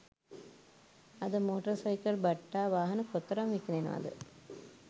අද motor cycle බට්ටා වාහන කොතරම් විකිණෙනවද